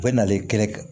U bɛ n'ale kɛ